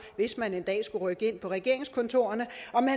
hvis man en dag skulle rykke ind på regeringskontorerne